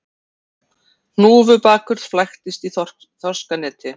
Hnúfubakur flæktist í þorskaneti